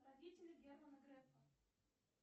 родители германа грефа